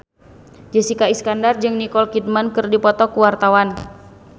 Jessica Iskandar jeung Nicole Kidman keur dipoto ku wartawan